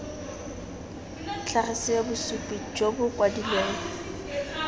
tlhagisiwe bosupi jo bo kwadilweng